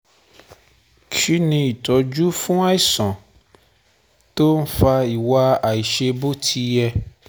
Kí ni itoju fún àìsàn tó ń fa iwa aisebotiye?